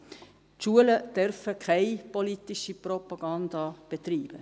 Drittens: Die Schulen dürfen keine politische Propaganda betreiben.